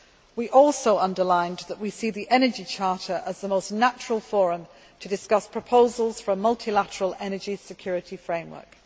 We also underlined that we see the Energy Charter as the most natural forum to discuss proposals for a multilateral energy security framework.